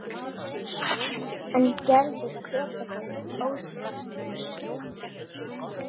En Gerður hvetur hann óspart.